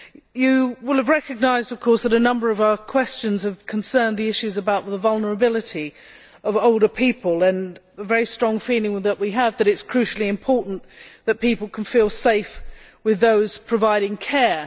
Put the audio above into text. You will have recognised, of course, that a number of our questions concern the issues about the vulnerability of older people and a very strong feeling that we have that it is crucially important that people can feel safe with those providing care.